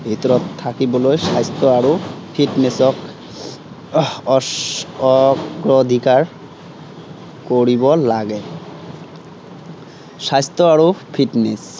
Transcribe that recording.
ভিতৰত থাকিবলৈ স্বাস্থ্য় আৰু fitness ক আহ অগ্ৰধিকাৰ কৰিব লাগে। স্বাস্থ্য় আৰু fitness আহ